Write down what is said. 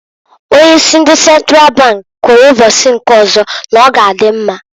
Onye isi ndi Sentral bank kwuru mbosi nke ozo n'ọga adị mma.